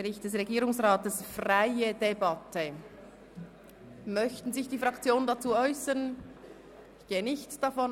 Ich stelle fest, dass sich die Fraktionen nicht dazu äussern möchten.